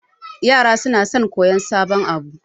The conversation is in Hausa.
Yara sona son koyan sabon abu